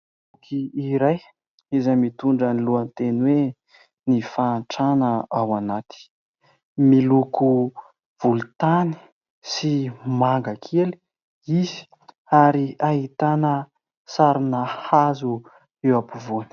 Boky iray izay mitondra ny lohateny hoe :" Ny fahantrana ao anaty " miloko volontany sy manga kely izy ary ahitana sarina hazo eo ampovoany.